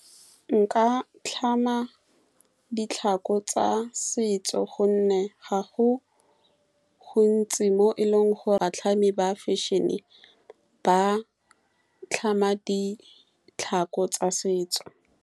Nka tlhama ditlhako tsa setso ka gonne gontsi ga gago mo e leng gore batlhami ba fashion-e ba tlhama ditlhako tsa setso.